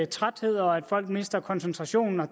træthed og at folk mister koncentrationen